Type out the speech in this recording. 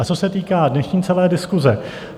A co se týká dnešní celé diskuse.